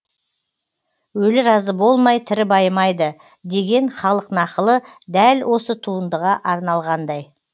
өлі разы болмай тірі байымайды деген халық нақылы дәл осы туындыға арналғандай